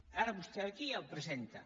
ara vostè ve aquí i el presenta